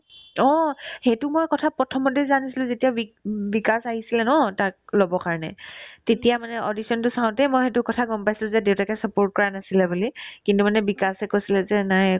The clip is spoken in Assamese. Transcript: অ, সেইটো মই কথা প্ৰথমতে জানিছিলো যেতিয়া ৱিক ~ বিকাশ আহিছিলে ন তাক ল'ব কাৰণে তেতিয়া মানে audition তো চাওতে মই সেইটো কথা গম পাইছিলো যে দেউতাকে support কৰা নাছিলে বুলি কিন্তু মানে বিকাশে কৈছিলে যে নাই